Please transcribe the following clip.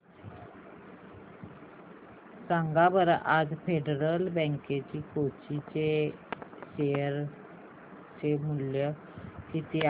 सांगा बरं आज फेडरल बँक कोची चे शेअर चे मूल्य किती आहे